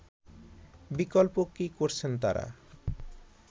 বিকল্প কি করছেন তারা